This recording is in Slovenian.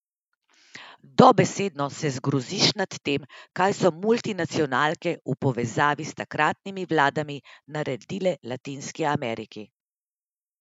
Dobesedno se zgroziš nad tem, kaj so multinacionalke v povezavi s takratnimi vladami naredile latinski Ameriki.